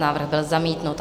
Návrh byl zamítnut.